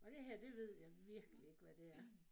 Og det her det ved jeg virkelig ikke hvad det er